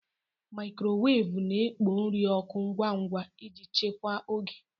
Mikrowevu na-ekpo nri ọkụ ngwa ngwa iji chekwaa oge.